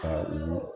Ka u